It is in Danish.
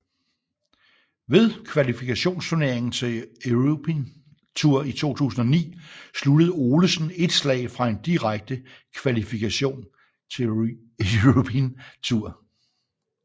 Ved kvalifikationsturneringen til European Tour i 2009 sluttede Olesen et slag fra en direkte kvalifikation til European Tour